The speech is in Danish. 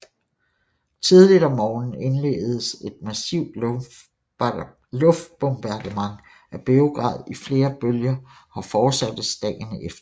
Tidligt om morgenen indledes et massivt luftbombardement af Beograd i flere bølger og fortsættes dagen efter